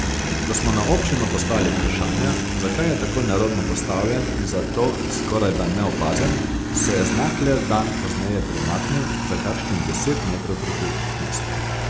Ko smo na občino poslali vprašanja, zakaj je tako nerodno postavljen in zato skorajda neopazen, se je znak le dan pozneje premaknil za kakšnih deset metrov proti mestu.